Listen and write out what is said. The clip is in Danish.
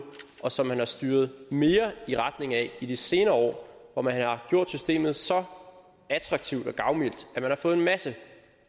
og som man har styret mere i retning af i de senere år hvor man har gjort systemet så attraktivt og gavmildt at man har fået en masse